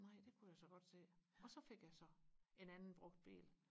nej det kunne jeg så godt se og så fik jeg så en anden brugt bil